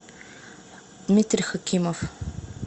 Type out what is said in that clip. дмитрий хакимов